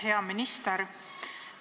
Hea minister!